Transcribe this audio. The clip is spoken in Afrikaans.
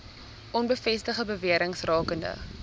onbevestigde bewerings rakende